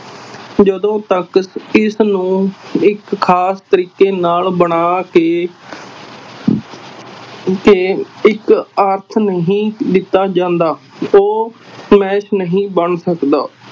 ਜਦੋਂ ਤੱਕ ਇਸਨੂੰ ਇੱਕ ਖ਼ਾਸ ਤਰੀਕੇ ਨਾਲ ਬਣਾ ਕੇ ਕੇ ਇੱਕ ਅਰਥ ਨਹੀਂ ਦਿੱਤਾ ਜਾਂਦਾ, ਉਹ ਨਹੀਂ ਬਣ ਸਕਦਾ।